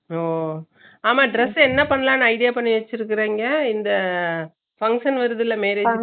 ஒ ஆமா dress என்ன பண்ணலாம்னு idea பண்ணி வெச்சுருக்கிங்க இந்த function வருதுலா marriage function